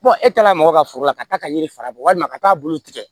e taara mɔgɔ ka foro la ka taa ka yiri fara walima ka taa bulu tigɛ